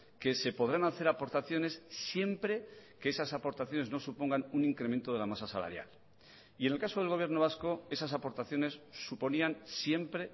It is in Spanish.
que se podrán hacer aportaciones siempre que esas aportaciones no supongan un incremento de la masa salarial y en el caso del gobierno vasco esas aportaciones suponían siempre